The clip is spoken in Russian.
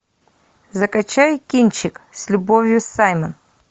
закачай кинчик с любовью саймон